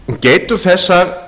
geitur þessar